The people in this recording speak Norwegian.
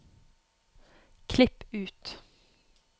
Klipp ut